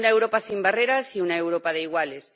una Europa sin barreras y una Europa de iguales